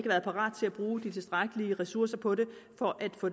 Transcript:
været parat til at bruge de tilstrækkelige ressourcer på det for at få